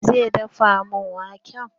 Wa zai dafa min wake?